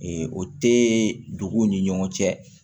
o tɛ duguw ni ɲɔgɔn cɛ